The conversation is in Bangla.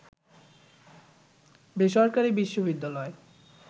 বেসরকারী বিশ্ববিদ্যালয়